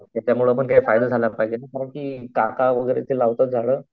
त्याच्यामुळे पणकरंदी काका वगैरे ते लावतात झाडं.